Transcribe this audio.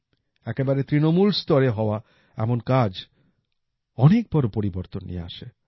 একেবারে তৃণমূল স্তরে হওয়া এমন কাজ অনেক বড় পরিবর্তন নিয়ে আসে